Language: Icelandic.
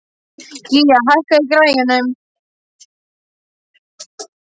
Gía, hækkaðu í græjunum.